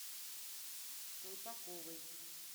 колпаковой